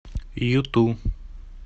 юту